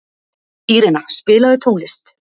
Írena, spilaðu tónlist.